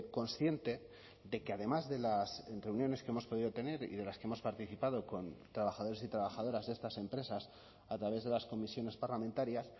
consciente de que además de las reuniones que hemos podido tener y de las que hemos participado con trabajadores y trabajadoras de estas empresas a través de las comisiones parlamentarias